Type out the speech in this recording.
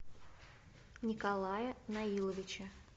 николая наиловича